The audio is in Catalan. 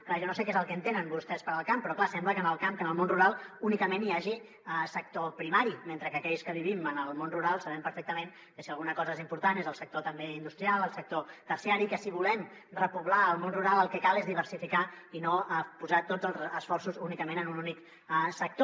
clar jo no sé què és el que entenen vostès per el camp però clar sembla que en el camp que en el món rural únicament hi hagi sector primari mentre que aquells que vivim en el món rural sabem perfectament que si alguna cosa és important és el sector també industrial el sector terciari que si volem repoblar el món rural el que cal és diversificar i no posar tots els esforços únicament en un únic sector